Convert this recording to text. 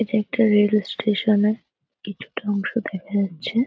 এটা একটা rail station -এ কিছুটা অংশ দেখা যাচ্ছে।